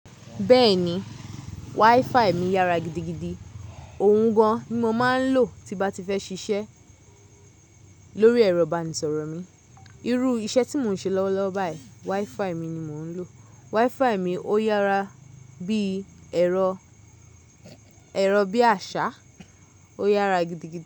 Bẹ́ẹ̀ni, WiFi mi yára gidigidi. Òun gan-an ni mo máa ń lò tí bá ti fẹ́ ṣiṣẹ́ lórí ẹ̀rọ ìbánisọ̀rọ̀ mi. Irú iṣẹ́ tí mò ń ṣe lọ́wọ́lọ́wọ́ báyìí, WiFi mi ni mò ń lò. WiFi mi ó yára bí ẹ̀rọ, ẹ̀rọ bí àṣá, ó yára gidigidi.